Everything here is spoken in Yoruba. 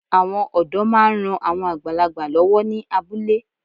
Àwọn ọ̀dọ́ máa ń ran àwọn àgbàlagbà lọ́wọ́ ní abúlé